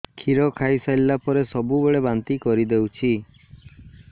କ୍ଷୀର ଖାଇସାରିଲା ପରେ ସବୁବେଳେ ବାନ୍ତି କରିଦେଉଛି